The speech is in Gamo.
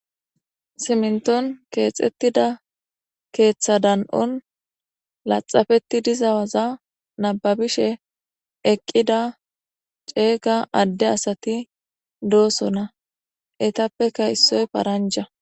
Simminton keexettida keeththa dan7on laxxapettidi diza waza nabbabishe eqqida ceega adde asati doosona. Eetappeka issoy paranga.